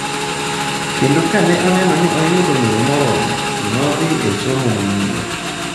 Kendo ka ne oneno ni oseyudo ng’eyo moromo, nodhi e somo manyien.